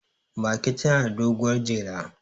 mage tana da doguwar jela